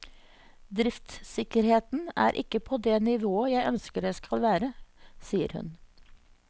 Driftssikkerheten er ikke på det nivået jeg ønsker det skal være, sier hun.